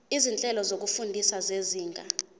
izinhlelo zokufunda zezinga